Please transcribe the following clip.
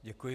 Děkuji.